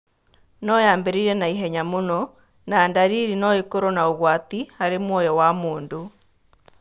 No yambĩrĩrie na ihenya mũno, na ndariri no ĩkorũo na ũgwati harĩ muoyo wa mũndũ.